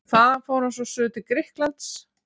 Þaðan fór hann svo suður til Grikklands.